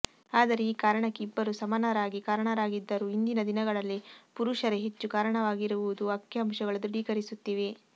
ಆದರೆ ಈ ಕಾರಣಕ್ಕೆ ಇಬ್ಬರೂ ಸಮಾನರಾಗಿ ಕಾರಣರಾಗಿದ್ದರೂ ಇಂದಿನ ದಿನಗಳಲ್ಲಿ ಪುರುಷರೇ ಹೆಚ್ಚು ಕಾರಣರಾಗಿರುವುದು ಅಂಕಿಅಂಶಗಳು ದೃಢೀಕರಿಸುತ್ತಿವೆ